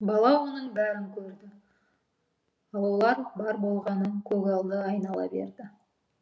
бала оның бәрін көрді ал олар бар болғаны көгалды айнала берді